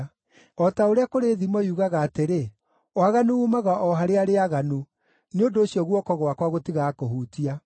O ta ũrĩa kũrĩ thimo yugaga atĩrĩ, ‘Waganu uumaga o harĩ arĩa aaganu,’ nĩ ũndũ ũcio guoko gwakwa gũtigakũhutia.